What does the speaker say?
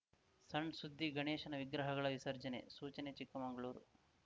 ಸಣ್‌ ಸುದ್ದಿಗಣೇಶನ ವಿಗ್ರಹಗಳ ವಿಸರ್ಜನೆ ಸೂಚನೆ ಚಿಕ್ಕಮಂಗಳೂರು